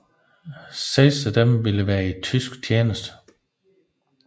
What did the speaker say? Seks af disse vil være i tysk tjeneste